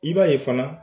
I b'a ye fana